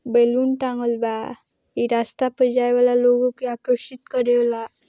Balloon तंगल बा इह रास्ता पर जाए वाला लोग के आकर्षित करेला।